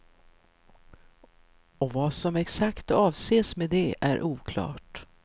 Och vad som exakt avses med det är oklart.